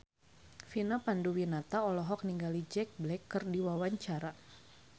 Vina Panduwinata olohok ningali Jack Black keur diwawancara